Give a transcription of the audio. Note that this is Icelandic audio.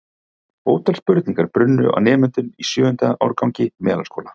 Ótal spurningar brunnu á nemendum í sjöunda árgangi Melaskóla.